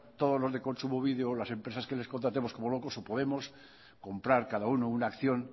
todos los de kontsumobide o las empresas que les contratemos como locos o podemos comprar cada uno una acción